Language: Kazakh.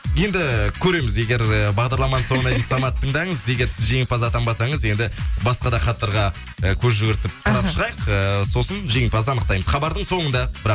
енді көреміз егер э бағдарламаның соңына дейін саматты тыңдаңыз егер сіз жеңімпаз атанбасаныз енді басқа да хаттарға э көз жүгіртіп қарап шығайық э сосын жеңімпазды аңықтаймыз хабардың соңында бірақ